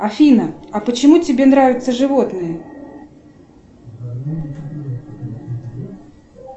афина а почему тебе нравятся животные